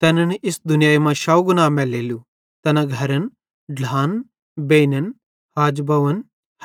तैनन् इस दुनियाई मां शौव गुणा मैलेलू तैना घरन ढ्लान बेइनन